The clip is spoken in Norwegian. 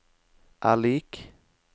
er lik